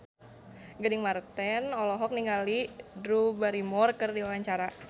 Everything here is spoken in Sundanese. Gading Marten olohok ningali Drew Barrymore keur diwawancara